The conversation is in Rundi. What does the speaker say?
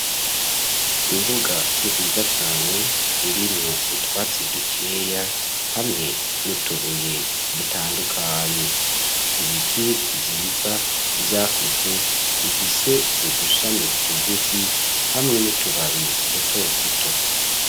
Imbuga nziza cane irimwo utwatsi dukeya, hamwe n'utubuye dutandukanye, ibiti vyiza vyakuze bifise udushami tugufi hamwe n'utubabi duto tuto.